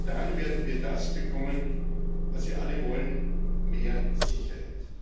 Nur dann werden wir das bekommen, was wir alle wollen mehr Sicherheit.